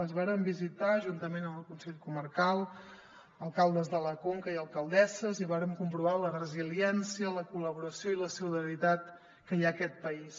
les vàrem visitar juntament amb el consell comarcal alcaldes de la conca i alcaldesses i vàrem comprovar la resiliència la col·laboració i la solidaritat que hi ha en aquest país